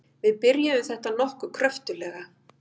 Við byrjuðum þetta nokkuð kröftuglega.